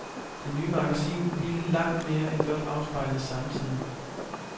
Det nye magasin ville langt mere end blot afspejle samtiden.